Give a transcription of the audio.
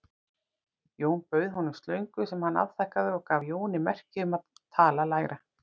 Jón bauð honum slöngu sem hann afþakkaði og gaf Jóni merki um að tala lægra.